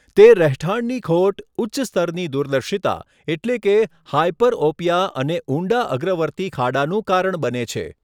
તે રહેઠાણની ખોટ, ઉચ્ચ સ્તરની દૂરદર્શિતા એટલે કે હાયપરઓપિયા અને ઊંડા અગ્રવર્તી ખાડાનું કારણ બને છે.